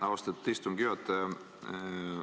Austatud istungi juhataja!